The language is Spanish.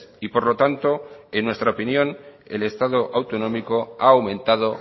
y por lo tanto en nuestra opinión el estado autonómico ha aumentado